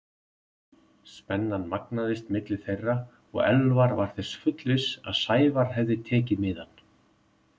Spennan magnaðist milli þeirra og Elvar var þess fullviss að Sævar hefði tekið miðann.